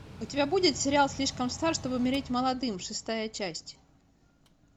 у тебя будет сериал слишком стар чтобы умереть молодым шестая часть